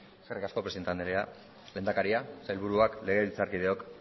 eskerrik asko presidente anderea lehendakaria sailburuak legebiltzarkideok